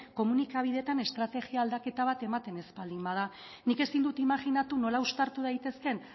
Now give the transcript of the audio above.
komunikabideetan estrategia aldaketa bat ematen ez baldin bada nik ezin dut imajinatu nola uztartu daitezkeen